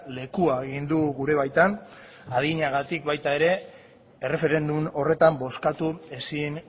lekua egin du gure baitan adinagatik baita ere erreferendum horretan bozkatu ezin